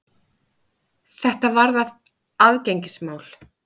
Þetta varðar aðgengismál.